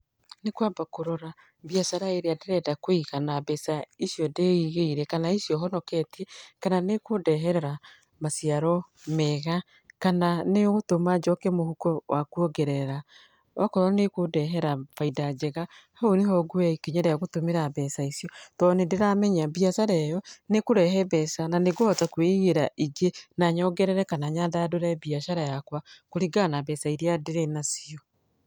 Nĩ kwamba kũrora mbiacara ĩrĩa ndĩrenda kũiga na mbeca icio ndĩigĩire kana icio honoketie, kana nĩ ĩkũndehera maciaro mega, kana nĩ ũgũtũma njoke mũhuko wa kuongerera. Okorwo nĩ ĩkũndehera bainda njega hau nĩho nguoya ikinya rĩa gũtũmĩra mbeca icio tondũ nĩ ndĩramenya mbiacara ĩyo nĩ ĩkũrehe mbeca, na nĩ ngũhota kwĩigĩra ingĩ na nyongerere kana nyandandũre mbiacara yakwa, kũringana na mbeca iria ndĩrĩ nacio.